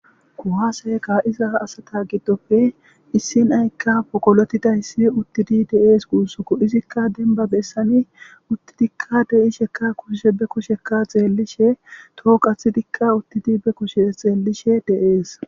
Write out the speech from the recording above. Kuwasse ka'iza asata giddoppe issi na'ayikka poggolotiday uttidi de'es gussuko izika dembba besan uttidi de'isheka be kushe xellishe toho qaxxidika uttidi be kushshe xellishe de'ess.